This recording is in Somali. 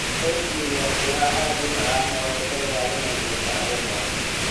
Oatmeal waa quraac aad u macaan oo kaa ilaalinaysa saacado badan.